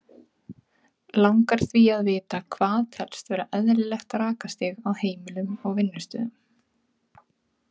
Langar því að vita hvað telst vera eðlilegt rakastig á heimilum og vinnustöðum.